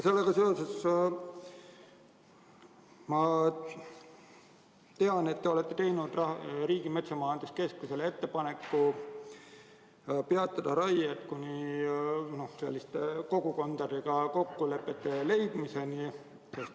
Sellega seoses te olete teinud Riigimetsa Majandamise Keskusele ettepaneku peatada raied kuni kogukondadega kokkulepete sõlmimiseni.